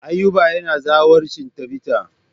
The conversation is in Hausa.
Ayuba yana zawarcin Tabita.